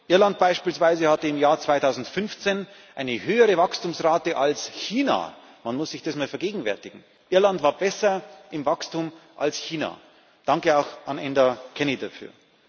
Irland beispielsweise hatte im Jahr 2015 eine höhere Wachstumsrate als China man muss sich das mal vergegenwärtigen Irland war besser im Wachstum als China! Danke auch an Enda Kenny dafür.